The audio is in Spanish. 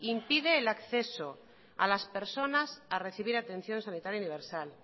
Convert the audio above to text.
impide el acceso a las personas a recibir atención sanitaria universal